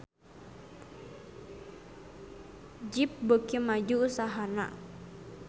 Jeep beuki maju usahana